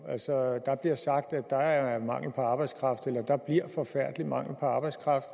altså der bliver sagt at der er mangel på arbejdskraft eller at der bliver forfærdelig mangel på arbejdskraft